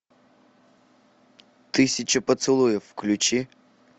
тысяча поцелуев включи